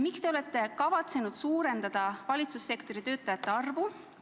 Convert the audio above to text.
Miks te olete kavatsenud suurendada valitsussektori töötajate arvu?